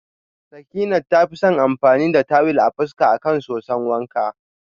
Sakinat tafi son amfani da tuwil a fuska akan soson wanka.